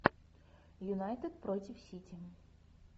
юнайтед против сити